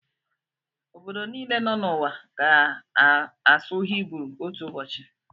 Obodo niile nọ n'ụwa ga-asụ Hibru otu ụbọchị.